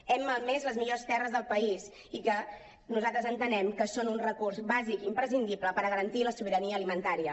hem malmès les millors terres del país i que nosaltres entenem que són un recurs bàsic i imprescindible per garantir la sobirania alimentària